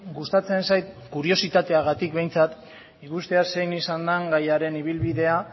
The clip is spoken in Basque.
gustatzen zait kuriositateagatik behintzat ikustea zein izan den gaiaren ibilbidea